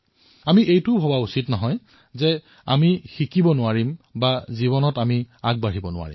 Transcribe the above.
আমি এয়া ভাবিব নালাগে যে আমি শিকিব নোৱাৰো আমি আগবাঢ়িব নোৱাৰো